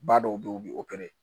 Ba dɔw be yen u bi